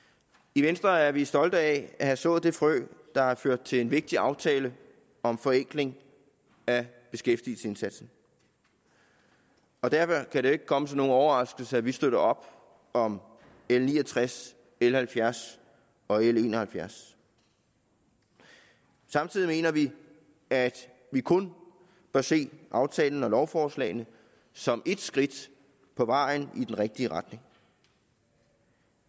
i venstre er vi stolte af at have sået det frø der har ført til en vigtig aftale om forenkling af beskæftigelsesindsatsen derfor kan det jo ikke komme som nogen overraskelse at vi støtter op om l ni og tres l halvfjerds og l en og halvfjerds samtidig mener vi at vi kun bør se aftalen og lovforslagene som et skridt på vejen i den rigtige retning